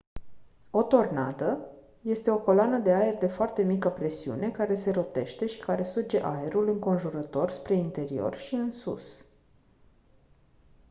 o tornadă este o coloană de aer de foarte mică presiune care se rotește și care suge aerul înconjurător spre interior și în sus